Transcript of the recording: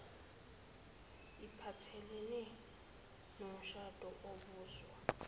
iphathelene nomshado obuswa